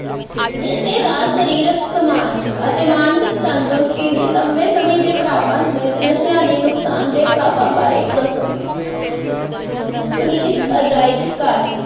ਕਿਸੇ ਦਾ ਸ਼ਾਰੀਰਿਕ ਸਮਾਜਿਕ ਸਮਾਜ ਅਤੇ ਮਾਨਸਿਕ ਤੰਦਰੁਸਤੀ ਲਈ ਲੰਬੇ ਸਮੇਂ ਦੇ ਪ੍ਰਭਾਵਾਂ ਸਮੇਤ ਨਸ਼ਿਆਂ ਦੇ ਨੁਕਸਾਨ ਦੇ ਪ੍ਰਭਾਵਾਂ ਬਾਰੇ ਦੱਸੋ ਪੁਲਿਸ ਅਜਾਇਬ ਘਰ